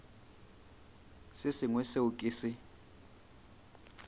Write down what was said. se sengwe seo ke se